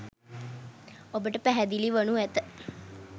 ඔබට පැහැදිලි වනු ඇත.